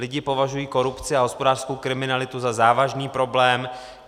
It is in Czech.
Lidi považují korupci a hospodářskou kriminalitu za závažný problém.